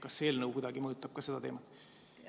Kas see eelnõu mõjutab kuidagi ka seda teemat?